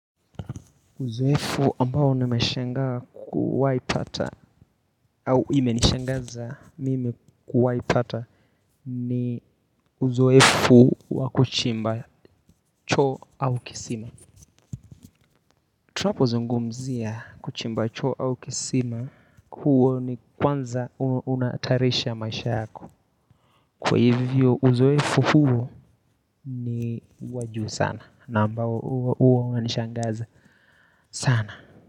Uzoefu ambao nimeshangaa kuwahi pata au imenishangaza mimi kuwahi pata ni uzoefu wa kuchimba choo au kisima. Tunapozungumzia kuchimba choo au kisima. Huo ni kwanza unahatarisha maisha yako. Kwa hivyo uzoefu huu ni wa juu sana. Na ambao huwa unishangaza sana.